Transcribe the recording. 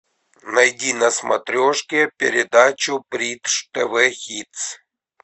найди на смотрешке передачу бридж тв хитс